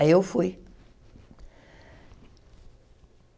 Aí eu fui.